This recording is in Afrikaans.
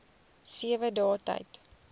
sewe dae tyd